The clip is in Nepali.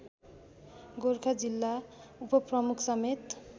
गोरखा जिल्ला उपप्रमुखसमेत